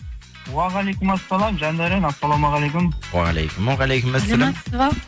уағалейкум ассалям жандәурен ассаламағалейкум уағалейкум уағалейкумассалям саламатсыз ба